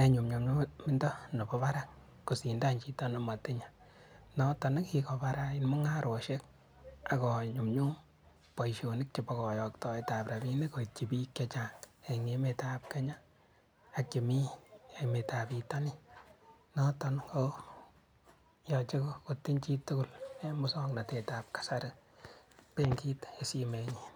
en nyumnyumindo nebo barak kosindan chito nemotinye, noton kikobarait mung'aroshek akoo nyumnyum boishonik chebo koyoktoetab rabinik koityi biik chechang en emetab Kenya ak chemii emetab bitonin, noton koyoche kotinyee chitukul en muswoknotetab kasari benkit en simoinyin.